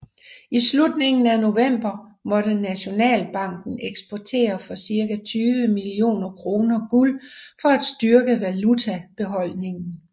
I slutningen af november måtte Nationalbanken eksportere for cirka 20 millioner kroner guld for at styrke valutabeholdningen